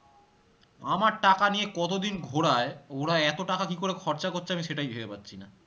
আমার টাকা নিয়ে কতদিন ঘোড়ায় ওরা এতো টাকা কি করে খরচা করছে আমি সেটাই ভেবে পাচ্ছিনা